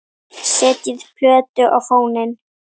Setjið plötu á fóninn.